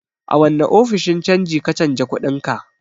A wane ofishin canji ka canja kuɗinka?